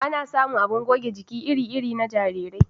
Ana samun abin goge jiki iri iri na jarirai